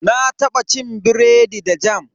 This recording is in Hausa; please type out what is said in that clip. Na taba cin biredi da jam.